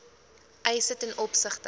eise ten opsigte